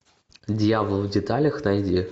дьявол в деталях найди